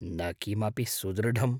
न किमपि सुदृढम्।